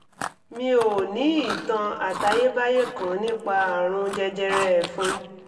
mi ò ò ní ìtàn àtayébáyé kan nípa àrùn jẹjẹrẹ ẹ̀fun